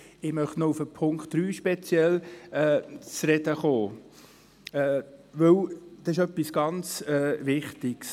Ich möchte noch auf Punkt 3 zu sprechen kommen, denn er ist sehr wichtig.